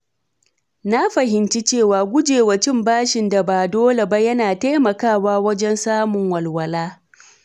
Na fahimci cewa gujewa cin bashin da ba dole ba yana taimakawa wajen samun walwala.